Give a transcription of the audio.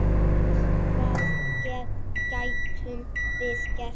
Hvað gætum við gert?